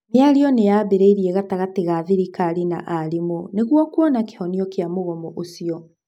mĩario nĩyambĩrĩirie gatagatĩ ga thirikari na arimũ nĩgũo kuona kĩhonia kia mũgomo ũcio.